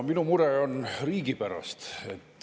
Mul on mure riigi pärast.